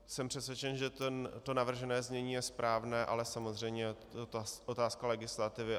Jsem přesvědčen, že to navržené znění je správné, ale samozřejmě je to otázka legislativy.